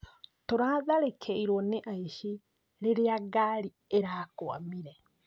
Turatharĩkĩrwo nĩ aici rĩrĩa ngarĩ ĩrakwamire